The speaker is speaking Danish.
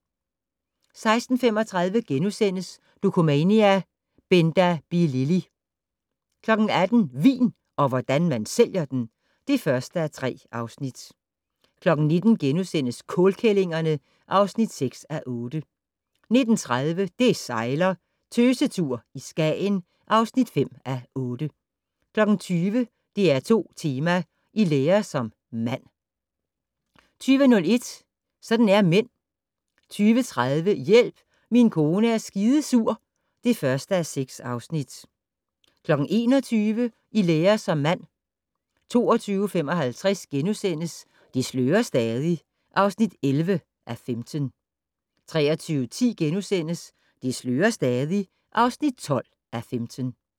16:35: Dokumania: Benda Bilili! * 18:00: Vin - og hvordan man sælger den! (1:3) 19:00: Kålkællingerne (6:8)* 19:30: Det sejler - Tøsetur i Skagen (5:8) 20:00: DR2 Tema: I lære som mand 20:01: Sådan er mænd 20:30: Hjælp, min kone er skidesur (1:6) 21:00: I lære som mand 22:55: Det slører stadig (11:15)* 23:10: Det slører stadig (12:15)*